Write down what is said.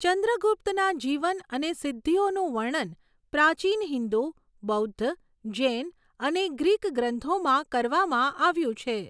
ચંદ્રગુપ્તના જીવન અને સિદ્ધિઓનું વર્ણન પ્રાચીન હિંદુ, બૌદ્ધ, જૈન અને ગ્રીક ગ્રંથોમાં કરવામાં આવ્યું છે.